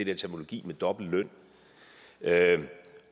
her terminologi med dobbelt løn